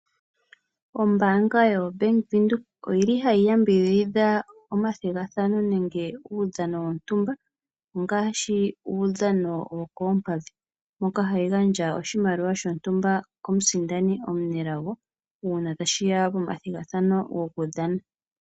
Ombanga yobank windhoek oyili hayi yambidhidha omathigathano nange uudhano wontumba ngaashi uudhano wokompadhi moka hayi gandja oshimaliwa shontumba komusindani omunelago uuna tashiya pomathigathano goku dhana.